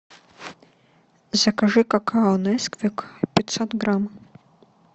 закажи какао несквик пятьсот грамм